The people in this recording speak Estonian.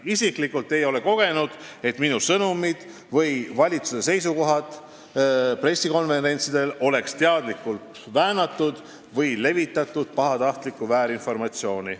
Isiklikult ei ole kogenud, et minu sõnumeid või valitsuse seisukohti pressikonverentsidelt oleks teadlikult väänatud või levitatud pahatahtlikku väärinformatsiooni.